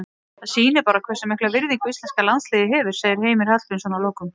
Það sýnir bara hversu mikla virðingu íslenska landsliðið hefur, segir Heimir Hallgrímsson að lokum.